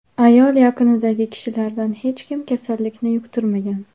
Ayol yaqinidagi kishilardan hech kim kasallikni yuqtirmagan.